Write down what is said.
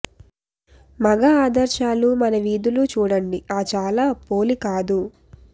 మగ ఆదర్శాలు మన వీధులు చూడండి ఆ చాలా పోలి కాదు